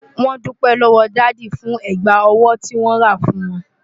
Wọ́n dúpẹ́ lọ́wọ́ dádì fún ẹ̀gbà ọwọ́ tí wọ́n rà fún wọn.